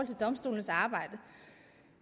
domstolenes arbejde